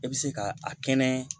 E bɛ se ka a kɛnɛ